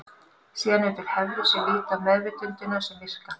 Síðan eru til hefðir sem líta á meðvitundina sem virka.